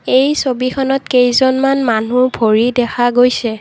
এই ছবিখনত কেইজনমান মানুহ ভৰি দেখা গৈছে।